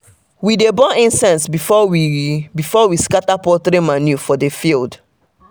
we dey burn incense before we before we scatter poultry manure for the field.